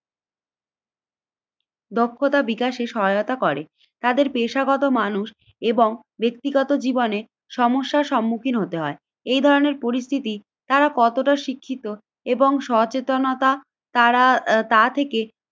দক্ষতা বিকাশে সহায়তা করে। তাদের পেশাগত মানুষ এবং ব্যক্তিগত জীবনে সমস্যার সম্মুখীন হতে হয়। এই ধরনের পরিস্থিতি তারা কতটা শিক্ষিত এবং সচেতনতা তারা তা থেকে